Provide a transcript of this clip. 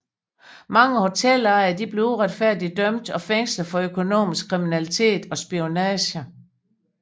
Mange hotelejere blev uretfærdigt dømt og fængslet for økonomisk kriminalitet og spionage